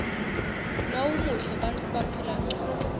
nawumuhle bantfu baphila ngcono